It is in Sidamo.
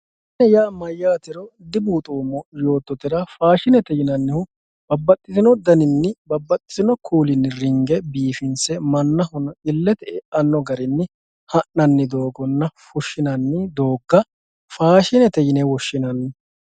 faashine yaa mayyaate dibuuxoommo yoottotera faashinete yinannihu babbaxino daninni babbaxino kuula ringe biifinse mannahono illete biifanno garinni ha'nanni doogonna fushshinanni doogga faashinete yine woshshinanni.